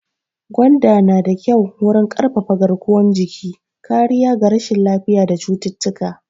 Gwanda na da kyau wurin ƙarfafa garkuwan jiki, kariya ga rashin lafiya da cututtuka.